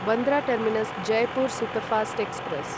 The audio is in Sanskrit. Bandra terminus Jaipur superfast express